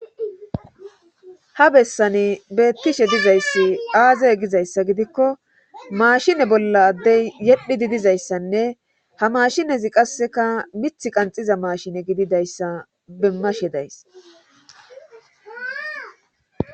ha bessani beettishe dizayssi aazaye gizayssa gidikko maashine bolla addey yedhi didizayssanne ha maashinezi qasseka mithi qanxiza maashine gididayssa bemmashe days